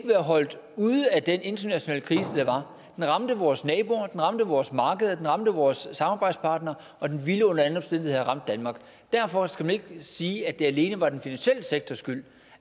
være holdt ude af den internationale krise der var den ramte vores naboer den ramte vores markeder den ramte vores samarbejdspartnere og den ville under alle omstændigheder have ramt danmark derfor skal man ikke sige at det alene var den finansielle sektors skyld